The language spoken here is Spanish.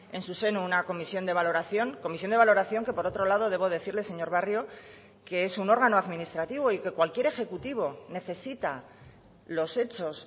en su seno una comisión de valoración comisión de valoración que por otro lado debo decirle señor barrio que es un órgano administrativo y que cualquier ejecutivo necesita los hechos